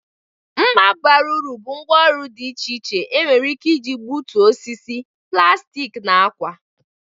Mma bara uru bụ ngwá ọrụ dị iche iche nwere ike iji egbutu osisi, plastik na ákwà.